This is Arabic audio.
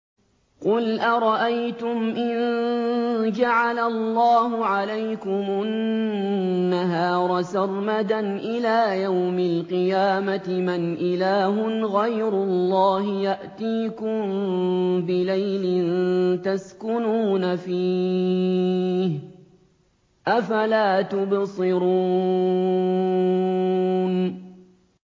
قُلْ أَرَأَيْتُمْ إِن جَعَلَ اللَّهُ عَلَيْكُمُ النَّهَارَ سَرْمَدًا إِلَىٰ يَوْمِ الْقِيَامَةِ مَنْ إِلَٰهٌ غَيْرُ اللَّهِ يَأْتِيكُم بِلَيْلٍ تَسْكُنُونَ فِيهِ ۖ أَفَلَا تُبْصِرُونَ